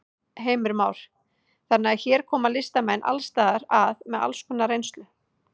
Heimir Már: Þannig að hér koma listamenn alls staðar að með alls konar reynslu?